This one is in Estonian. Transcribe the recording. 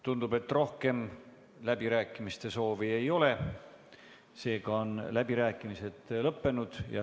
Tundub, et rohkem läbirääkimiste soovi ei ole, seega on läbirääkimised lõppenud.